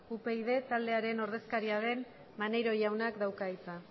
upyd taldearen ordezkaria den maneiro jaunak dauka hitza